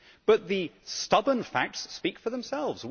But the stubborn facts speak for themselves.